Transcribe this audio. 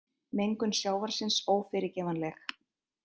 Mengun sjávarins ófyrirgefanleg